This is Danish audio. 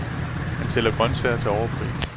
Han sælger grøntsager til overpris.